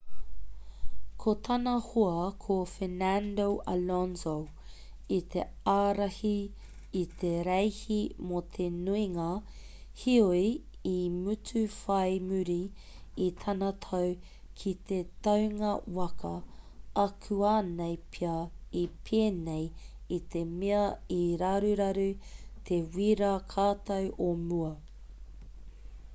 ko tana hoa ko fernando alonso i te ārahi i te reihi mō te nuinga heoi i mutu whai muri i tana tau ki te taunga waka akuanei pea i pēnei i te mea i raruraru te wīrā katau o mua